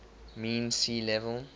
mean sea level